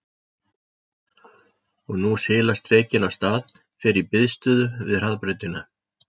Og nú silast drekinn af stað, fer í biðstöðu við hraðbrautina.